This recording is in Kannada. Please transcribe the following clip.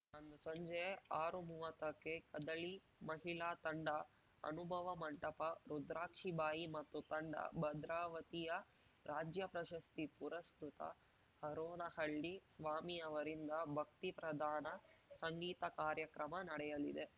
ಅಂದು ಸಂಜೆ ಆರುಮುವತ್ತಕ್ಕೆ ಕದಳಿ ಮಹಿಳಾ ತಂಡ ಅನುಭವ ಮಂಟಪ ರುದ್ರಾಕ್ಷಿಬಾಯಿ ಮತ್ತು ತಂಡ ಭದ್ರಾವತಿಯ ರಾಜ್ಯ ಪ್ರಶಸ್ತಿ ಪುರಸ್ಕೃತ ಹರೋನಹಳ್ಳಿ ಸ್ವಾಮಿಯವರಿಂದ ಭಕ್ತಿ ಪ್ರಧಾನ ಸಂಗೀತ ಕಾರ್ಯಕ್ರಮ ನಡೆಯಲಿದೆ